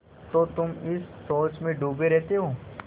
तो तुम इस सोच में डूबे रहते हो